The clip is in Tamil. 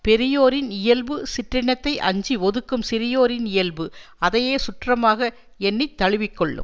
பெரியோரின் இயல்பு சிற்றினத்தை அஞ்சி ஒதுக்கும் சிறியோரின் இயல்பு அதையே சுற்றமாக எண்ணி தழுவி கொள்ளும்